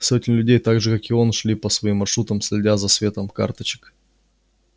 сотни людей так же как и он шли по своим маршрутам следя за светом карточек